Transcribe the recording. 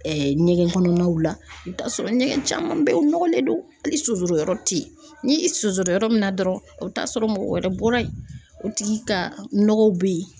ɲɛgɛn kɔnɔnaw la i bɛ taa sɔrɔ ɲɛgɛn caman bɛ yen o nɔgɔlen don hali suso yɔrɔ tɛ yen ni i suso yɔrɔ min na dɔrɔn i bɛ taa sɔrɔ mɔgɔ wɛrɛ bɔra yen o tigi ka nɔgɔw bɛ yen.